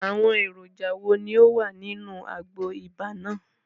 Àwọn èròjà wo ni ó wà nínú àgbo ibà náà?